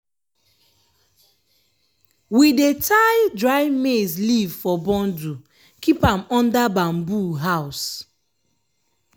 we dey tye dry maize leaf for bundle keep am under bamboo house.